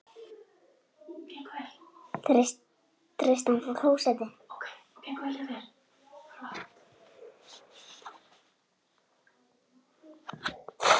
Engin formleg svör hafa borist.